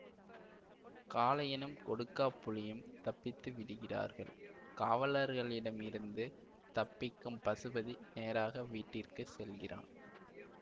காளையனும் கொடுக்காப்புளியும் தப்பித்து விடுகிறார்கள் காவலர்களிடம் இருந்து தப்பிக்கும் பசுபதி நேராக வீட்டிற்கு செல்கிறான்